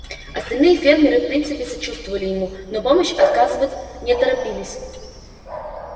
остальные фермеры в принципе сочувствовали ему но помощь отказывать не торопились